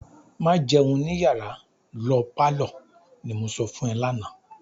"Má jẹun ní yàrá, lo pálọ̀," ni mo sọ fún ẹ lánàá.